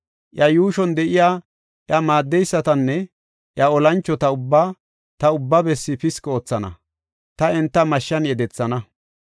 Iya yuushon de7iya iya maaddeysatanne iya olanchota ubbaa ta ubba bessi piski oothana; ta enta mashshan yedethana.